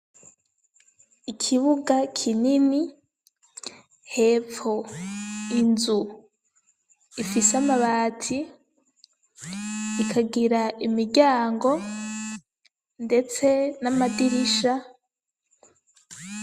Ikibuga kinini, hepfo inzu ifise amabati ikagira imiryango ndetse n'amadirisha.